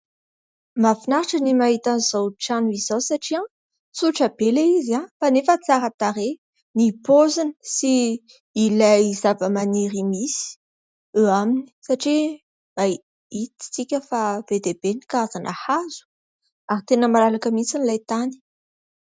Mahafinaritra ny mahita an'izao trano izao satria tsotra be ilay izy kanefa tsara tarehy ny paoziny sy ilay zavamaniry misy eo aminy. Satria mahita isika fa be dia be ny karazana hazo ary tena malalaka mihitsy ilay tany.